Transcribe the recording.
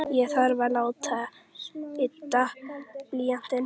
Ég þarf að láta ydda blýantinn.